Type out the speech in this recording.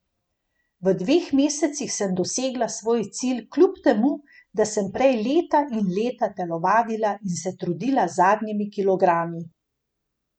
V dveh mesecih sem dosegla svoj cilj kljub temu, da sem prej leta in leta telovadila in se trudila z zadnjimi kilogrami.